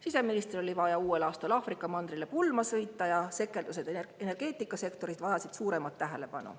Siseministril oli vaja uuel aastal Aafrika mandrile pulma sõita ja sekeldused energeetikasektoris vajasid suuremat tähelepanu.